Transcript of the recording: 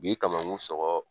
U b'i kamakun sɔgɔ